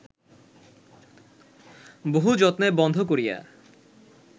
বহু যত্নে বন্ধ করিয়া